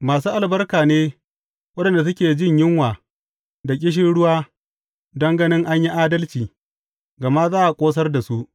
Masu albarka ne waɗanda suke jin yunwa da ƙishirwa don gani an yi adalci, gama za a ƙosar da su.